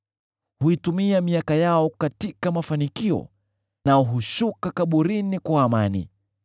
Huitumia miaka yao katika mafanikio nao hushuka kaburini kwa amani.